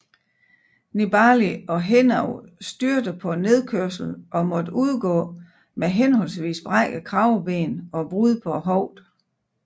Nibali og Henao styrtede på nedkørslen og måtte udgå med henholdsvis brækket kraveben og brud på hoften